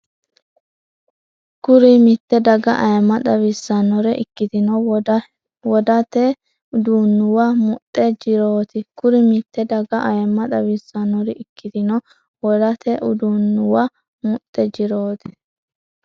Kuri mitte daga ayimma xawissannore ikkitino wodate uduunnuwa muxxe jirooti Kuri mitte daga ayimma xawissannore ikkitino wodate uduunnuwa muxxe jirooti.